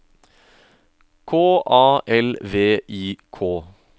K A L V I K